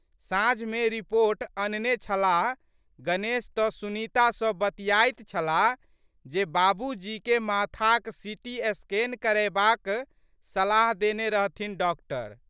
साँझमे रिपोर्ट अनने छलाह गणेश तऽ सुनीता सँ बतियाइत छलाह जे बाबूजीके माथाक सिटी स्कैन करयबाक सलाह देने रहथिन डॉक्टर।